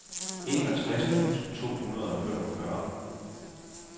enogtres tusind to hundrede og femogfyrre